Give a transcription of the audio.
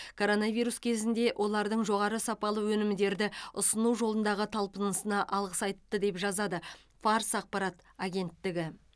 коронавирус кезінде олардың жоғары сапалы өнімдерді ұсыну жолындағы талпынысына алғыс айтты деп жазады фарс ақпарат агенттігі